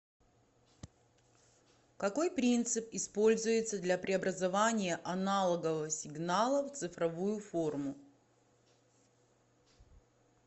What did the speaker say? какой принцип используется для преобразования аналогового сигнала в цифровую форму